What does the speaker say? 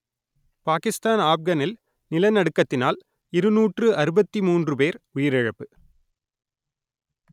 பாகிஸ்தான் ஆப்கனில் நிலநடுக்கத்தினால் இருநூற்று அறுபத்தி மூன்று பேர் உயிரிழப்பு